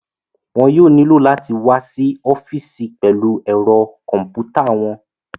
Wọn yóò nílò láti wá sí ọ́fìsì pẹ̀lú ẹ̀rọ kọ̀m̀pútà wọn